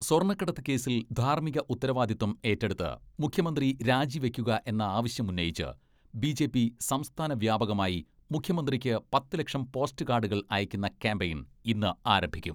സ്വർണ്ണക്കടത്ത് കേസിൽ ധാർമ്മിക ഉത്തരവാദിത്വം ഏറ്റെടുത്ത് മുഖ്യമന്ത്രി രാജിവെക്കുക എന്ന ആവശ്യമുന്നയിച്ച് ബി.ജെ.പി സംസ്ഥാന വ്യാപകമായി മുഖ്യമന്ത്രിക്ക് പത്ത് ലക്ഷം പോസ്റ്റ് കാഡുകൾ അയക്കുന്ന ക്യാമ്പയിൻ ഇന്ന് ആരംഭിക്കും.